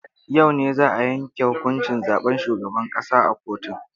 A yau ne za a yanke huƙuncin zaben shugaban ƙasa a kotun.